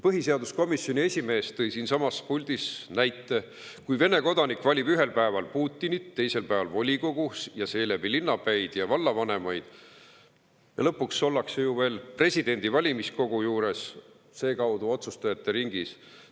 Põhiseaduskomisjoni esimees tõi siinsamas puldis näite, et Vene kodanik valib ühel päeval Putinit, teisel päeval volikogu ja seeläbi linnapäid ja vallavanemaid ning lõpuks ollakse ju veel valimiskogu kaudu presidendivalimiste otsustajate ringis.